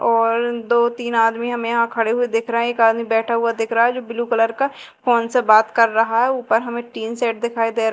और दो तीन आदमी हमें यहां खड़े हुए दिख रहे हैं एक आदमी बैठा हुआ दिख रहा है जो ब्लू कलर का फोन से बात कर रहा है ऊपर हमें टीन सेट दिखाई दे रहा--